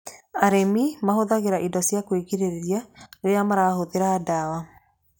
Arĩmi mahũthagĩra indo ciakwĩgirĩrĩria rĩrĩa marahũthĩra ndawa.